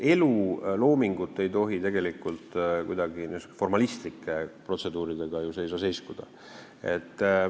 Elu ja looming ei tohi tegelikult kuidagi niisuguste formalistlike protseduuride tõttu seiskuda.